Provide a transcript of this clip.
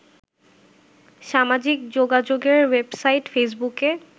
সামাজিক যোগাযোগের ওয়েবসাইট ফেসবুকে